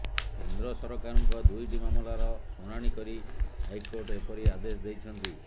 କେନ୍ଦ୍ର ସରକାରଙ୍କ ଦୁଇଟି ମାମଲାର ଶୁଣାଣି କରି ହାଇକୋର୍ଟ ଏପରି ଆଦେଶ ଦେଇଛନ୍ତି